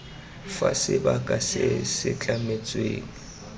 fa sebaka se se tlametsweng